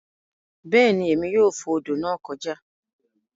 Beeni Emi yoo fo odo naa joka